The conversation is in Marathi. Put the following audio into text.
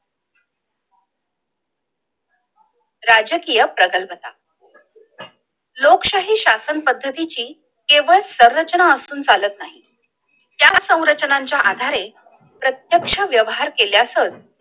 राजकीय प्रकल्पता लोकशाही शासन पद्धतीची केवळ संरचना असून चालत नाही! या संरचने च्या आधारे प्रत्यक्ष व्यवहार केल्यास च